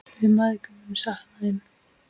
Við mæðgur munum sakna þín.